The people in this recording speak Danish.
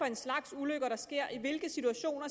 en slags ulykker der sker i hvilke situationer